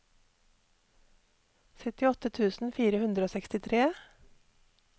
syttiåtte tusen fire hundre og sekstitre